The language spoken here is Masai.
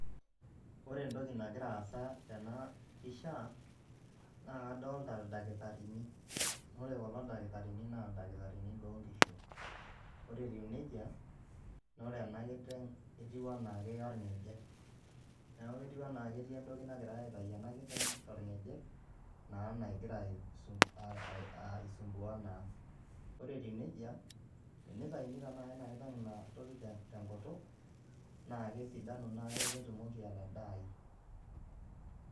Ore entoki nagia aasa tena pisha, naa kadolita ildakitarini, ore kulo dakitarini naa ildakitarini loo nkishu, ore etiu nejia naa ore ena kiteng etiwua anaa keya olngejep neeku ketiwua anaa ketii entoki nagirai aitayu ena kiteng tolngejep naa nagira aisumbuaa naa, ore etiu nejia, teneitayuni tenakata ena kiteng ina toki tenkutuk naa kesidanu neeku ketumoki atadaayu.